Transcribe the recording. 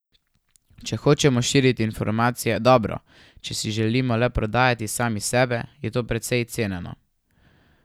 Če hočemo širiti informacije, dobro, če pa si želimo le prodajati sami sebe, je to precej ceneno.